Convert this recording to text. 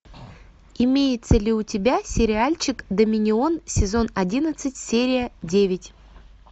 имеется ли у тебя сериальчик доминион сезон одиннадцать серия девять